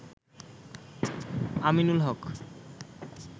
Aminul Haque